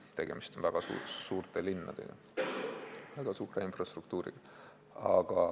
Tegemist on väga suurte linnadega ja väga suure infrastruktuuriga.